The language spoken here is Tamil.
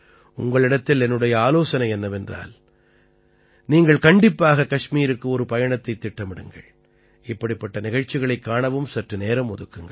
உங்களிடத்தில் என்னுடைய ஆலோசனை என்னவென்றால் நீங்கள் கண்டிப்பாக கஷ்மீருக்கு ஒரு பயணத்தைத் திட்டமிடுங்கள் இப்படிப்பட்ட நிகழ்ச்சிகளைக் காணவும் சற்று நேரம் ஒதுக்குங்கள்